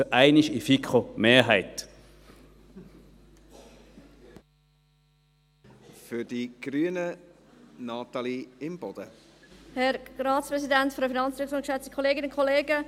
Wir haben uns für 12 000 Franken ausgesprochen und sind damit für einmal bei der FiKo-Mehrheit.